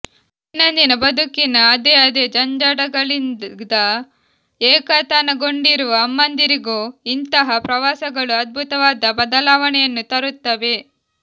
ದೈನಂದಿನ ಬದುಕಿನ ಅದೇ ಅದೇ ಜಂಜಡಗಳಿದ ಏಕತಾನಗೊಂಡಿರುವ ಅಮ್ಮಂದಿರಿಗೂ ಇಂತಹ ಪ್ರವಾಸಗಳು ಅದ್ಭುತವಾದ ಬದಲಾವಣೆಯನ್ನು ತರುತ್ತವೆ